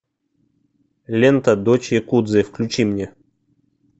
лента дочь якудзы включи мне